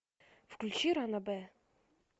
включи ранобэ